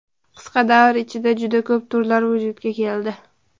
Qisqa davr ichida juda ko‘p turlar vujudga keldi.